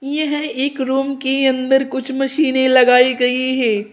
यह एक रूम के अंदर कुछ मशीने लगाई गई है।